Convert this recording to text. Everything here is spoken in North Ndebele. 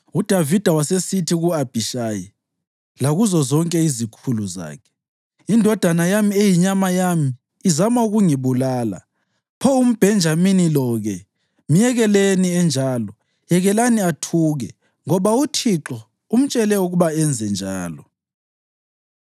UDavida wasesithi ku-Abhishayi lakuzo zonke izikhulu zakhe, “Indodana yami, eyinyama yami, izama ukungibulala. Pho umBhenjamini lo-ke! Myekeleni enjalo; yekelani athuke, ngoba uThixo umtshele ukuba enze njalo.